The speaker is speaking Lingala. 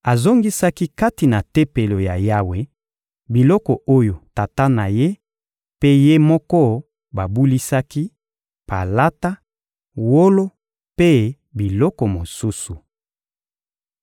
Azongisaki kati na Tempelo ya Yawe biloko oyo tata na ye mpe ye moko babulisaki: palata, wolo mpe biloko mosusu.